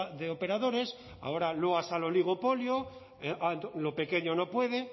de operadores ahora loas al oligopolio lo pequeño no puede